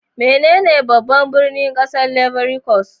Menene babban birnin kasar Ivory Coast?